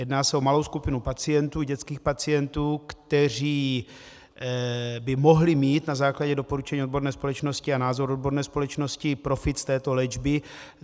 Jedná se o malou skupinu pacientů, dětských pacientů, kteří by mohli mít na základě doporučení odborné společnosti a názoru odborné společnosti profit z této léčby.